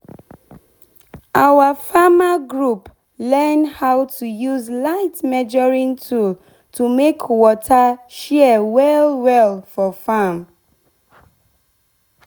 our farmer group learn how to use light measuring tool to make water share well well for farm.